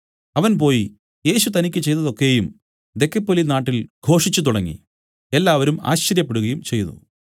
അവൻ പോയി യേശു തനിക്കു ചെയ്തതൊക്കെയും ദെക്കപ്പൊലിനാട്ടിൽ ഘോഷിച്ചു തുടങ്ങി എല്ലാവരും ആശ്ചര്യപ്പെടുകയും ചെയ്തു